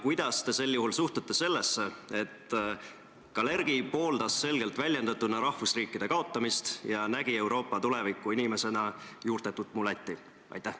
Kuidas te sel juhul suhtute sellesse, et Kalergi pooldas selgelt väljendatuna rahvusriikide kaotamist ja nägi Euroopa tulevikuinimesena juurtetut mulatti?